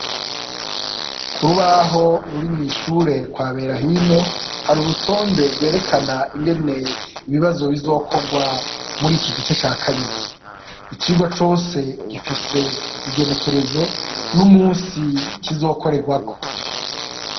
Kurubaho ruri mw'ishure kwa Berahino, hari urutonde rwerekana ingene ibibazo bizokorwa mur' iki gice ca kabiri, icirwa cose gifise igenekerezo, n'umusi kizokorerwako .